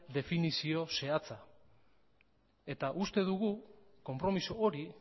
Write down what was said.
definizio zehatzak eta uste dugu konpromiso hori